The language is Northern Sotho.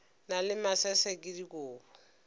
na le masese ke dikobo